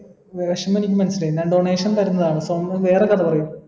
വെഷ്മെനിക്ക്‌ മനസ്സിലായി ഞാൻ donation തരുന്നതാണ് സോമൻ വേറെ കഥ പറയു